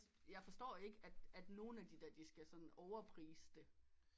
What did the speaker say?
Jeg forstår ikke at at nogen af de der sådan skal over overprise det